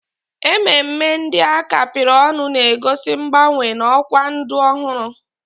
Ememe ndị a kapịrị ọnụ na-egosi mgbanwe na ọkwa ndụ ọhụrụ